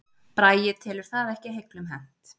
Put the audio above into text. Bragi telur það ekki heiglum hent